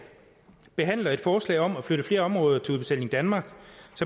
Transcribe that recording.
behandler et forslag om at flytte flere områder over til udbetaling danmark